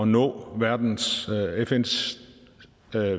nå fns